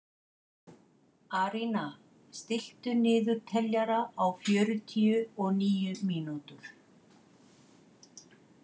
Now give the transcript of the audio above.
Arína, stilltu niðurteljara á fjörutíu og níu mínútur.